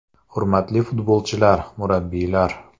Hurmatli futbolchilar, murabbiylar!